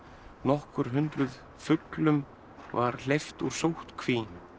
nokkur hundruð fuglum var hleypt úr sóttkví